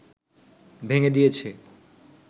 ভেঙ্গে দিয়েছে